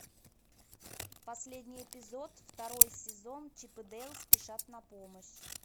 последний эпизод второй сезон чип и дейл спешат на помощь